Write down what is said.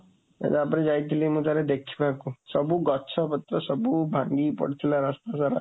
ତା ପରେ ଯାଇଥିଲି ମୁଁ ଥରେ ଦେଖିବାକୁ, ସବୁ ଗଛପତ୍ର ସବୁ ଭାଙ୍ଗିକି ପଡ଼ିଥିଲା ରାସ୍ତା ସାରା।